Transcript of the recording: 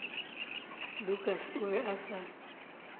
lukas o be a sa